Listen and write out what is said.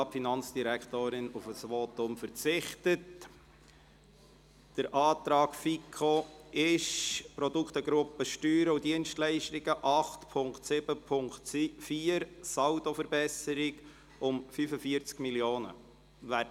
Beim Antrag FiKo geht es um die Produktegruppe Steuern und Dienstleistungen, 8.7.4, und eine Saldoverbesserung um 45 Mio. Franken.